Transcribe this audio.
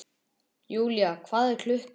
Julia, hvað er klukkan?